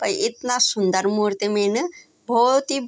और इतना सुन्दर मूर्ति मिन बहौत ही --